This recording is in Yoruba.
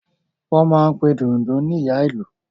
Wọ́n máa n pe Dundun ní Ìyá Ìlú